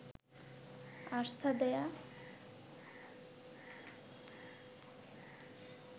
আস্থা দেয়া